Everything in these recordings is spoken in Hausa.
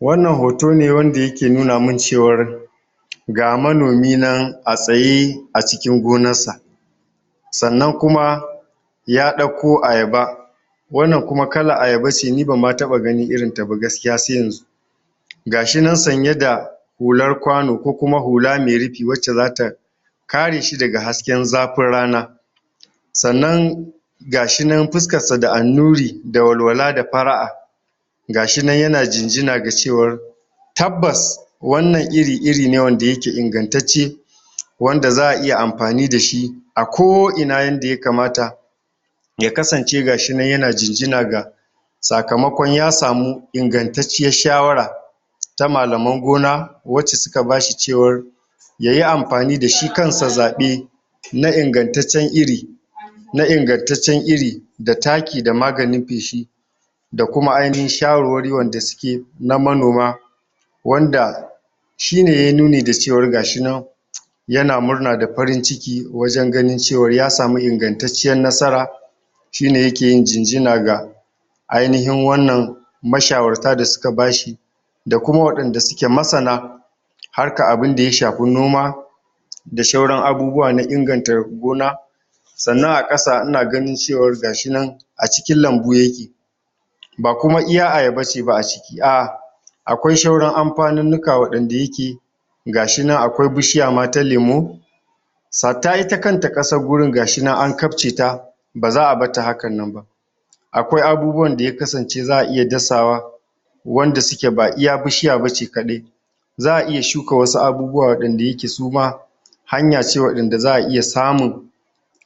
Wannan hoto ne, wanda yake nuna min cewar ga manomi nan a tsaye, a cikin gonar sa. Sannan kuma, ya ɗakko ayaba, wannan kuma kalan ayaba ce, ni ban ma taɓa ganin irinta ba gaskiya sai yanzu. Gashi nan sanye da hular kwano, ko kuma hula mai rufi, wacce za ta ka re shi daga hasken zafin rana. Sannan gashi nan fuskar sa da annuri, da walwala da fara'a, gashi nan yana jinjin ga cewar tabbas wannan iri, iri ne wanda yake ingantacce, wanda za a iya amfani dashi a ko ina, yanda ya kamata. Ya kasance gashi nan yana jinjina, ga sakamakon ya samu ingantacciyar shawara, ta malaman gona, wacce suka bashi cewar yayi amfani dashi kan sa zaɓe, na ingantaccen iri na ingantaccen iri, da taki, da maganin feshi, da kuma ainihin shawarwari wanda suke na manoma, wanda shine yayi nuni, da cewar gashi nan yana murna da farin ciki, wajen ganin cewar ya samu ingantacciyar nasara, shine yake yin jinjina ga ainihin wannan mashawarta da suka bashi, da kuma wa'inda suke masana harkan abinda ya shafi noma, da shauran abubuwa na inganta gona. Sannan a ƙasa, ina gani cewar gashi nan a cikin lambu yake. Ba kuma iya ayaba ce ba a ciki, a a akwai shauran amfanunnuka waɗan da yake, gashi nan akwai bishiya ma ta lemo, hatta ita kanta ƙasan wurin gashi nan an kafce ta, ba za a batta hakan nan ba. Akwai abubuwan da ya kasance za a iya dasawa, wanda suke ba iya bishiya bace kaɗai, za a iya shuka wasu abubuwa, waɗan da yake su ma hanya ce waɗan da za a iya samun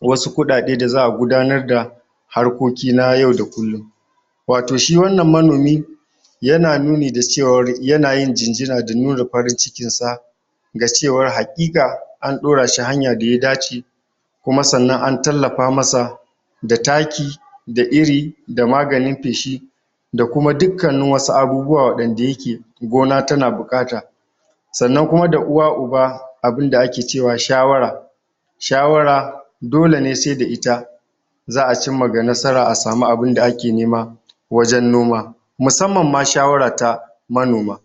wasu kuɗaɗe, da za a gudanar da harkoki na yau da kullum. Wato shi wannan manomi, yana nuni da cewar, yana yin jinjina da nuna farin cikin sa, da cewar haƙiƙa an ɗora shi hanya da ya dace, kuma sannan an tallafa masa da taki, da iri, da maganin feshi, da kuma dukkanin wasu abubuwa waɗan da yake gona tana buƙata. Sannan kuma da uwa uba abunda ake ce wa shawara. Shawara, dole ne sai da ita, za a cimma ga nasara, a samu abunda ake nema, wajen noma. Musamman ma shawara ta manoma.